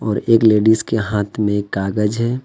और एक लेडिस के हाथ में कागज है।